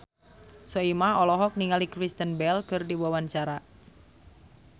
Soimah olohok ningali Kristen Bell keur diwawancara